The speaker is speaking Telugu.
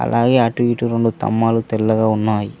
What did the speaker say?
అలాగే అటు ఇటు రెండు తమ్మలు తెల్లగా ఉన్నాయి.